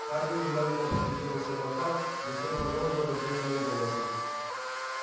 хардин внимательно поглядел на сермака затем продолжи размеренным голосом